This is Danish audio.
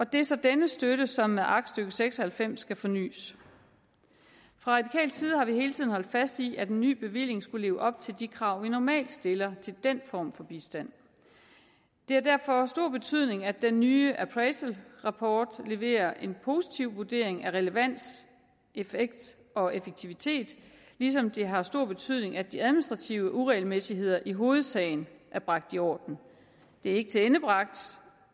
det er så denne støtte som med aktstykke seks og halvfems skal fornys fra radikal side har vi hele tiden holdt fast i at en ny bevilling skal leve op til de krav man normalt stiller til den form for bistand det har derfor stor betydning at den nye appraisalrapport leverer en positiv vurdering af relevans effekt og effektivitet ligesom det har stor betydning at de administrative uregelmæssigheder i hovedsagen er bragt i orden det er ikke tilendebragt